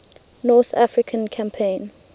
north african campaign